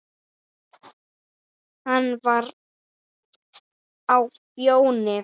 Hann var á Fjóni.